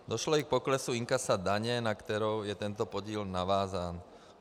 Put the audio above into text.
Došlo i k poklesu inkasa daně, na kterou je tento podíl navázán.